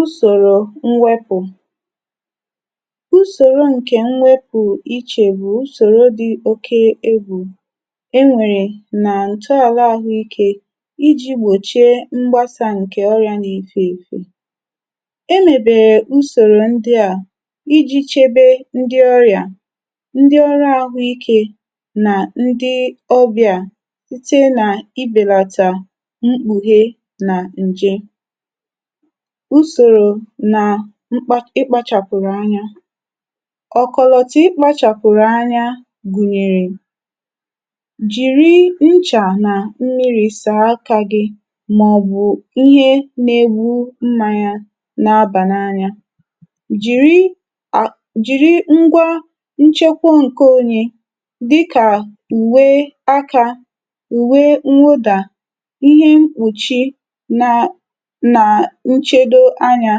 Usòrò mwepụ̀: usòrò ǹkè mwepụ̀ ichè bụ̀ usòrò dị̀ oke egbù e nwèrè nà ǹtọala ahụikė iji̇ gbòchie mgbasa ǹkè ọrị̀ȧ na-efè èfè. E mèbèrè usòrò ndị à iji̇ chebe ndị ọrị̀à, ndị ọrụ ahụikė nà ndị òbìà site nà ịbèlàtà mkpùhe nà ǹje. Usòrò nà ịkpȧchàpụ̀rụ̀ anya: ọ̀kọ̀lọ̀tụ̀ ịkpȧchàpụ̀rụ̀ anya gụ̀nyèrè; jìri nchà nà mmiri̇ sà aka gị mà ọ̀ bụ̀ ihe nà-egbu mmanya na-abà n’anya, jìri à jìri ngwa nchekwuo ǹke onye dịkà ùwe aka, ùwe nwụdà, ihe mkpùchi na na nchedo anya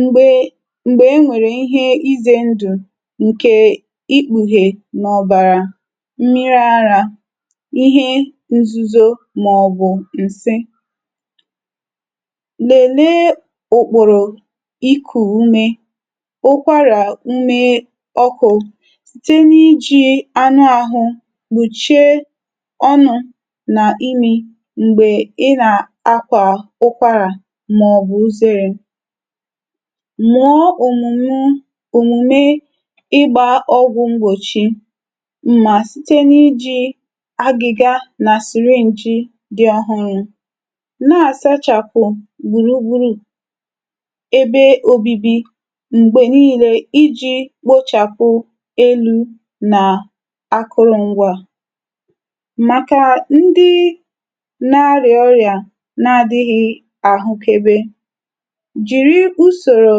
m̀gbè m̀gbè e nwèrè ihe izė ndù ǹkè ikpùhè n’ọ̀bàrà, mmiri̇ arȧ, ihe nzuzo mà ọ̀ bụ̀ ǹsi. Lèlee ùkpòrò ikù ume, ụkwara ume ọkụ̇ site n’iji̇ anụ àhụ̇ gbùchie ọnụ̇ nà imì mgbe ị na-akwa ụkwara mà ọ̀ bụ̀ uzère. Mụọ̀ ọmụ̀mụ òmùme ịgbȧ ọgwụ̀ m̀gbòchi mà site n’iji̇ agị̇gȧ nà siri nji̇ dị̀ ọ̀hụrụ̇. Nà-àsachàpụ̀ gbùrùgburu ebe òbibi m̀gbè niile iji̇ kpochàpụ elu̇ nà akụrụ ngwȧ màkà ndị nà-arịà ọrịà na-adịghị ahukebe, jìri ùsòrò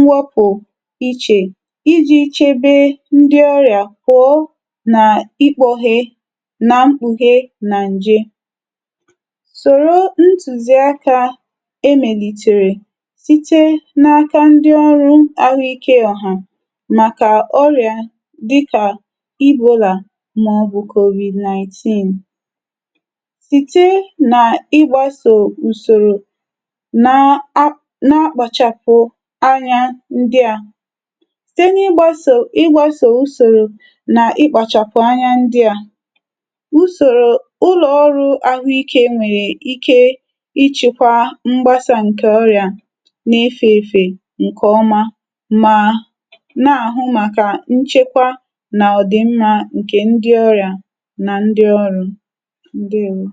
mwapù ichè iji̇ chebe ndi ọrị̀à kwòo nà ikpȯghe na mkpùhe nà ǹje. Sòro ntùziàkà emèlìtèrè site n’aka ndi ọrụ̇ ahụ̀ike ọ̀hà màkà ọrị̀à dịkà Ebola mà ọ bụ̀ COVID ninteen. Site nà ịgbȧsò usòrò na, na akpàchàpụ̀ anya ndị à site n’ịgbȧsò ịgbȧsò ùsòrò na ịkpàchàpụ anya ndị à ùsòrò ụlọ̀ ọrụ̇ ahụ ikė nwèrè ike ịchị̇kwȧ mgbasà ǹkè ọrị̀à na-ife èfè ǹkè ọma ma na-àhụ màkà nchekwa nà ọ̀dị̀mmȧ ǹkè ndị ọrị̀à na ndị ọrụ̀. Ndewo.